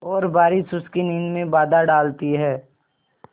और बारिश उसकी नींद में बाधा डालती है